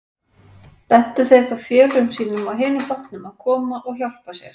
Bentu þeir þá félögum sínum á hinum bátnum að koma og hjálpa sér.